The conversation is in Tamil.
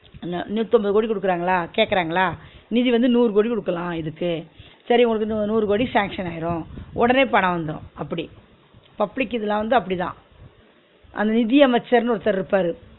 அன நூத்தி அம்பது கோடி குடுக்குராங்களா கேக்குறாங்களா நிதி வந்து நூறு கோடி குடுக்கலா இதுக்கு சரி ஒனக்கு நூ~ நூறு கோடி sanction ஆயிரு உடனே பனோ வந்துரு அப்டி public இதுலா வந்து அப்டிதா அந்த நிதியமச்சர்னு ஒருத்தர் இருப்பாரு